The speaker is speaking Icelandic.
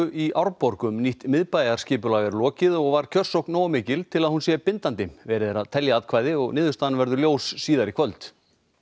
í Árborg um nýtt miðbæjarskipulag er lokið og var kjörsókn nógu mikil til að hún sé bindandi verið er að telja atkvæði og niðurstaðan verður ljós síðar í kvöld